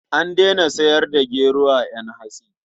An daina sayar da gero a ƴan hatsi.